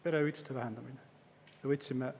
Perehüvitiste vähendamine!